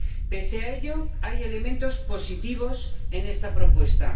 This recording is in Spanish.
Pese a ello, hay elementos positivos en esta propuesta.